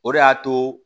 O de y'a to